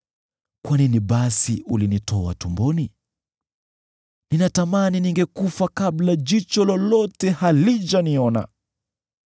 “Kwa nini basi ulinitoa tumboni? Ninatamani ningekufa kabla jicho lolote halijaniona.